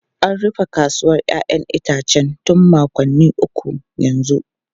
An rufe kasuwar 'ya'yan itace tun makonni uku yanzu.